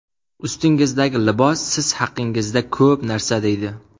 Ustingizdagi libos siz haqingizda ko‘p narsa deydi.